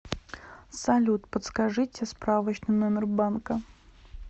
салют подскажите справочный номер банка